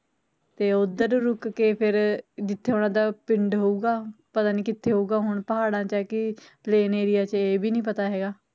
ਤੇ ਓਦਰ ਰੁਕ ਕੇ ਫੇਰ ਜਿਥੇ ਓਨਾ ਦਾ ਪਿੰਡ ਹੋਊਗਾ ਪਤਾ ਨਹੀਂ ਕਿਥੇ ਹੋਊਗਾ ਹੁਣ ਪਹਾੜਾ ਚ ਐ ਕਿ plain area ਚ, ਇਹ ਵੀ ਨੀ ਪਤਾ ਹੈਗਾ